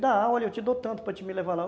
Dá, olha, eu te dou tanto para te me levar lá.